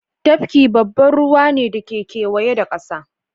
Tafki babban ruwa ne da ke kewaye da kasa